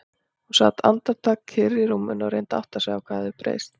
Hún sat andartak kyrr í rúminu og reyndi að átta sig á hvað hafði breyst.